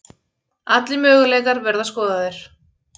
Allir möguleikar verða skoðaðir